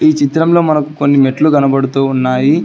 ఈ చిత్రంలో మనకు కొన్ని మెట్లు కనబడుతూ ఉన్నాయి.